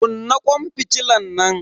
Kunna kwan fitilan nan.